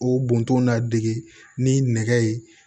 O bɔntɔ na dege ni nɛgɛ ye